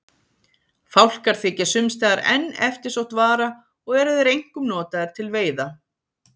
Fálkar þykja sums staðar enn eftirsótt vara og eru þeir einkum notaðir til veiða.